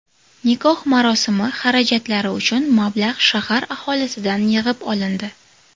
Nikoh marosimi xarajatlari uchun mablag‘ shahar aholisidan yig‘ib olindi.